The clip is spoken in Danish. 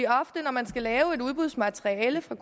ofte når man skal lave et udbudsmateriale fra